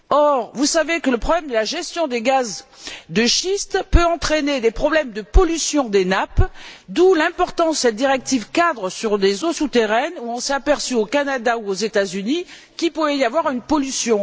Or, vous savez que le problème de la gestion des gaz de schiste peut entraîner des problèmes de pollution des nappes, d'où l'importance de la directive cadre sur les eaux souterraines, où on s'est aperçu au Canada ou aux États Unis qu'il pouvait y avoir une pollution.